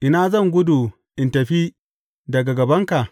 Ina zan gudu in tafi daga gabanka?